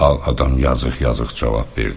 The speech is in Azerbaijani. Ağ adam yazıq-yazıq cavab verdi.